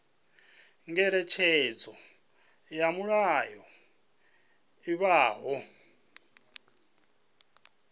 ngeletshedzo ya mulayo i bvaho